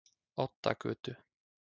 Oddagötu